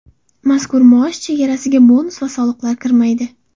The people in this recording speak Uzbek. Mazkur maosh chegarasiga bonus va soliqlar kirmaydi.